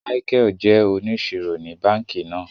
Michael jé òníṣírò ní bánkì náà